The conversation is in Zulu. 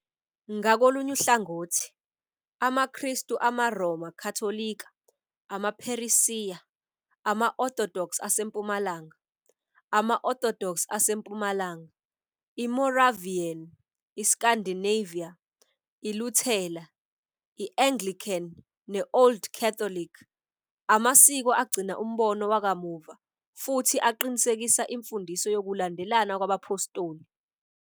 Ngakolunye uhlangothi, amaKristu amaRoma Katolika, amaPheresiya, ama-Orthodox aseMpumalanga, amaOrthodox aseMpumalanga, iMoravian, iScandinavia iLuthela, i-Anglican, ne-Old Catholic, amasiko agcina umbono wakamuva futhi aqinisekisa imfundiso yokulandelana kwabaphostoli.